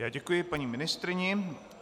Já děkuji paní ministryni.